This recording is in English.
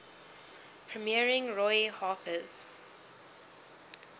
premiering roy harper's